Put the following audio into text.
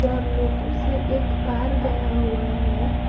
Generator से एक तार गया हुआ है।